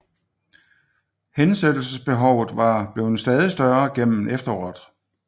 Hensættelsesbehovet var blevet stadig større gennem efteråret